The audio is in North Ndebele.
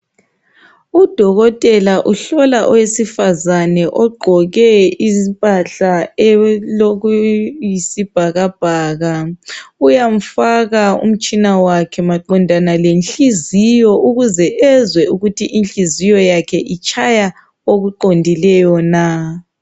Udokotela uhlola owesifazane ogqoke impahla elokuyisibhakabhaka uyamfaka umtshina wakhe maqondana lenhliziyo ukuze ezwe ukuthi inhliziyo yakhe itshaya okuqondileyo na.